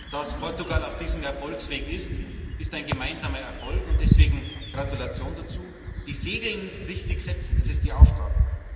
Dass Portugal auf diesem Erfolgsweg ist, ist ein gemeinsamer Erfolg, und deswegen Gratulation dazu! Die Segel richtig zu setzen, das ist die Aufgabe.